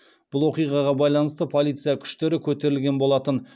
бұл оқиғаға байланысты полиция күштері көтерілген болатын